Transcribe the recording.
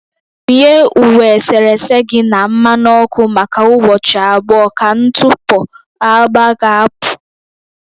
Wunye uwe eserese gị na mmanụ ọkụ maka ụbọchị abụọ ka ntụpọ agba ga-apụ